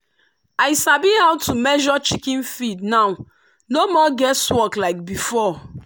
i sabi how to measure chicken feed now no more guess work like before.